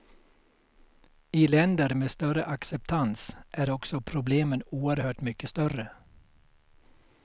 I länder med större acceptans är också problemen oerhört mycket större.